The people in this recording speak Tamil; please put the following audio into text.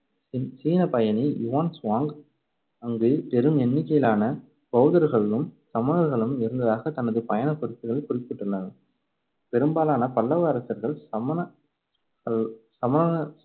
சீ~ சீனப்பயணி யுவான் சுவாங் அங்கு பெரும் எண்ணிக்கையிலான பௌத்தர்களும் சமணர்களும் இருந்ததாகத் தனது பயணக் குறிப்புகளில் குறிப்பிட்டுள்ளார். பெரும்பாலான பல்லவ அரசர்கள் சமண~ கள்~ சமணர்